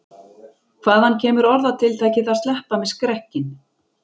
Hvaðan kemur orðatiltækið að sleppa með skrekkinn?